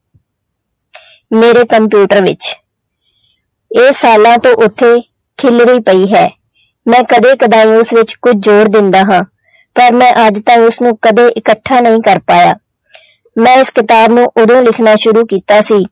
ਮੇਰੇ ਕੰਪਿਊਟਰ ਵਿੱਚ ਇਹ ਸਾਲਾਂ ਤੋਂ ਉੱਥੇ ਖਿਲਰੀ ਪਈ ਹੈ ਮੈਂ ਕਦੇ ਕਦਾਈ ਉਸ ਵਿੱਚ ਕੁੱਝ ਜੋਰ ਦਿੰਦਾ ਹਾਂ ਪਰ ਮੈਂ ਅੱਜ ਤਾਈਂ ਉਸਨੂੰ ਕਦੇ ਇਕੱਠਾ ਨਹੀਂ ਕਰ ਪਾਇਆ ਮੈਂ ਇਸ ਕਿਤਾਬ ਨੂੰ ਉਦੋਂ ਲਿਖਣਾ ਸ਼ੁਰੂ ਕੀਤਾ ਸੀ,